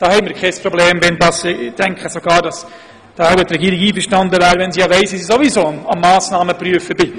Ich kann mir jedoch vorstellen, dass die Regierung auch mit einer Motion gut leben könnte, denn sie weiss ja, dass wir sowieso dabei sind, Massnahmen zu prüfen.